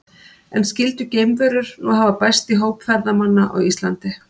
En skyldu geimverur nú hafa bæst í hóp ferðamanna á Íslandi?